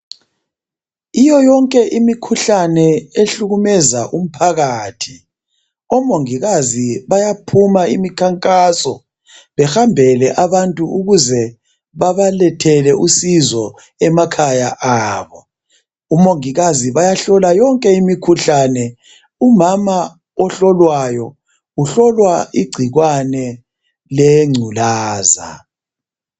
Kiyoyonke imikhuhlane ehlukumeza umphakathi omongikazi bayaphuma imikhankaso behambele abantu ukuze babalethele usizo emakhaya abo Omongikazi bayahlola yonke imikhuhlane .Umama ohlolwayo uhlolwa igcikwane lengculaza